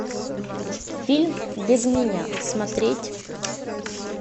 фильм без меня смотреть